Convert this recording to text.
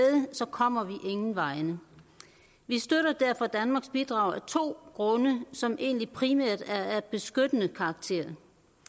kommer vi ingen vegne vi støtter derfor danmarks bidrag af to grunde som egentlig primært er af beskyttende karakterer